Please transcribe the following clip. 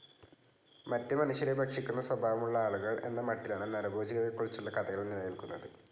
മറ്റ് മനുഷ്യരെ ഭക്ഷിക്കുന്ന സ്വഭാവമുള്ള ആളുകൾ എന്ന മട്ടിലാണ് നരഭോജികളെക്കുറിച്ചുള്ള കഥകൾ നിലനിൽക്കുന്നത്.